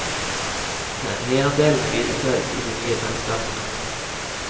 Eierandelene videreføres i de nye selskapene.